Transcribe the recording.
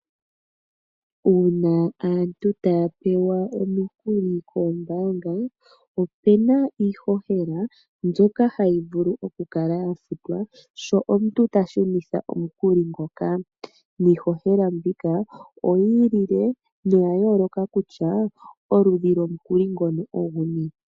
Uuna aantu taya pewa omikuli koombanga opena iihohela mbyoka hayi vulu oku kala ya futwa sho omuntu ta shunitha omukuli ngoka, niihohela mbika oyi ilile noya yooloka kutya oludhi lomukuli ngono oguni.